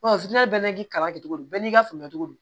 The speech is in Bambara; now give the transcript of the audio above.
bɛɛ n'i ka kalan kɛ cogo di bɛɛ n'i ka faamuya cogo don